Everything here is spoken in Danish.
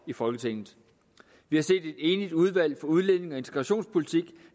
i folketinget vi har set et enigt udvalg for udlændinge og integrationspolitik